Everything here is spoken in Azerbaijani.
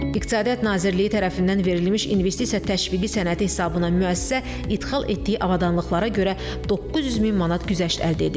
İqtisadiyyat Nazirliyi tərəfindən verilmiş investisiya təşviqi sənədi hesabına müəssisə idxal etdiyi avadanlıqlara görə 900 min manat güzəşt əldə edib.